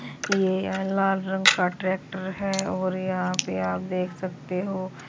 ये लाल रंग का ट्रैक्टर है और यहां पे आप देख सकते हो--